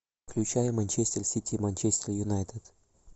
включай манчестер сити манчестер юнайтед